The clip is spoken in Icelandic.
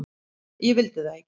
Ég vildi það ekki.